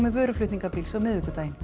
vöruflutningabíls á miðvikudaginn